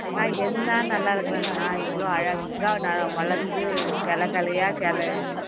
நான் என்ன நல்லா இருக்கிறேன் நான் இவ்வளவு அழகா நான் வளர்ந்து கிளை கிளையா கிளை